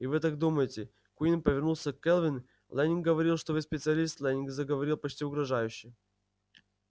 и вы так думаете куинн повернулся к кэлвин лэннинг говорил что вы специалист лэннинг заговорил почти угрожающе